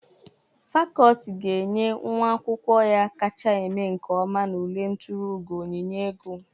Fakọlti ga-enye nwa akwụkwọ ya kacha eme nke ọma n'ule nturu ugo onyinye ego.